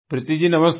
प्रीति जी नमस्ते